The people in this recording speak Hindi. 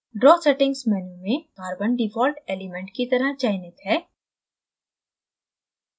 draw settings menu में carbon default element की तरह चयनित है